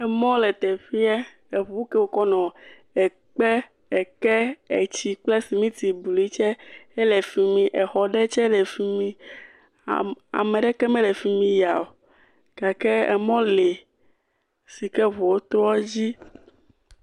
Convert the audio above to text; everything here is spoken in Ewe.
Mɔ lete ƒeɛ. Eŋu ke wokɔ nɔ ɛkpɛ, ɛkɛ, ɛtsi kple simiti blui tsɛ le fi mi, exɔ ɖewo tsɛ le fi mi. Am ame ɖeke mele fi mi ya o . Emɔ lee si ke eŋuwo toɛ dzi.